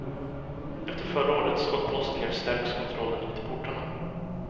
Efter förra årets skottlossningar stärks kontrollen vid portarna.